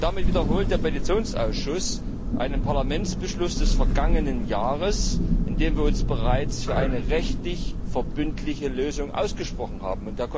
Damit wiederholt der Petitionsausschuss einen Parlamentsbeschluss des vergangenen Jahres, in dem wir uns bereits für eine rechtlich verbindliche Lösung ausgesprochen haben.